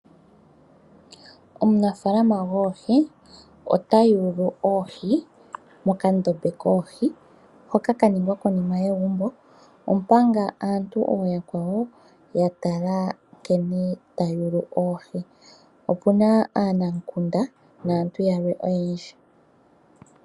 Omunafaalama goohi ota yulu oohi mokandombe koohi hoka ka ningwa konima yegumbo. Omanga aantu ooyakwawo ya tala nkene ta yulu oohi. Opu na aanamukunda, naantu yalwe oyendji.